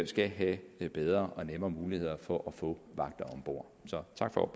skal have bedre og nemmere muligheder for at få vagter om bord så tak for